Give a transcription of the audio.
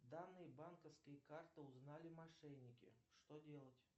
данные банковской карты узнали мошенники что делать